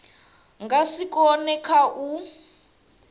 nga si kone kha u